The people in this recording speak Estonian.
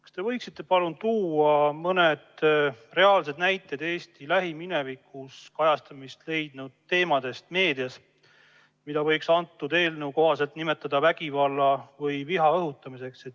Kas te võiksite palun tuua mõne reaalse näite Eesti lähiminevikus meedias kajastamist leidnud teemast, mida võiks selle eelnõu kohaselt nimetada vägivalla või viha õhutamiseks?